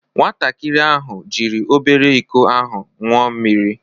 Nwatakịrị ahụ jiri obere iko ahụ ṅụọ mmiri.